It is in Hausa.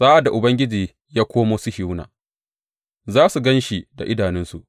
Sa’ad da Ubangiji ya komo Sihiyona, za su gan shi da idanunsu.